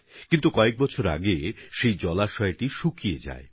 কিন্তু বেশ কয়েক বছর আগে তা শুকিয়ে যায়